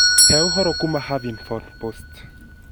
hee ũhoro kuuma Huffington Post.